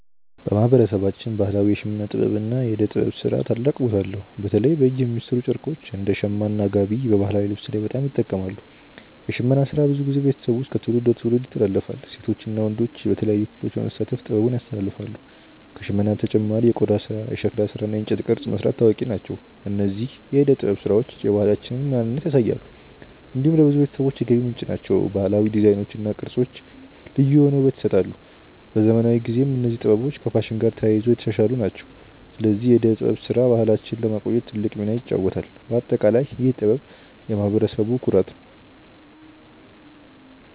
በማህበረሰባችን ባህላዊ የሽመና ጥበብ እና የእደ ጥበብ ስራ ታላቅ ቦታ አለው። በተለይ በእጅ የሚሠሩ ጨርቆች እንደ “ሸማ” እና “ጋቢ” በባህላዊ ልብስ ላይ በጣም ይጠቀማሉ። የሽመና ስራ ብዙ ጊዜ በቤተሰብ ውስጥ ከትውልድ ወደ ትውልድ ይተላለፋል። ሴቶች እና ወንዶች በተለያዩ ክፍሎች በመሳተፍ ጥበቡን ያስተላልፋሉ። ከሽመና በተጨማሪ የቆዳ ስራ፣ የሸክላ ስራ እና የእንጨት ቅርጽ መስራት ታዋቂ ናቸው። እነዚህ የእደ ጥበብ ስራዎች የባህላችንን ማንነት ያሳያሉ። እንዲሁም ለብዙ ቤተሰቦች የገቢ ምንጭ ናቸው። ባህላዊ ዲዛይኖች እና ቅርጾች ልዩ የሆነ ውበት ይሰጣሉ። በዘመናዊ ጊዜም እነዚህ ጥበቦች ከፋሽን ጋር ተያይዞ እየተሻሻሉ ናቸው። ስለዚህ የእደ ጥበብ ስራ ባህላችንን ለማቆየት ትልቅ ሚና ይጫወታል። በአጠቃላይ ይህ ጥበብ የማህበረሰቡ ኩራት ነው።